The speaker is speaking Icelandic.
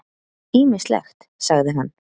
Ýmislegt, sagði hann.